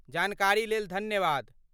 जानकारीलेल धन्यवाद।